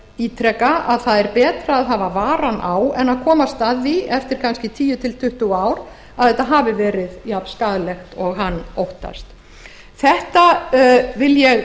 ítreka að það er betra að hafa varann á en að komast að því eftir kannski tíu til tuttugu ár að þetta hafi verið eins skaðlegt og hann óttast ég